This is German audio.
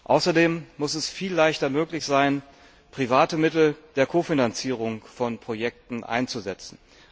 Außerdem muss es viel leichter möglich sein, private Mittel der Kofinanzierung von Projekten einzusetzen.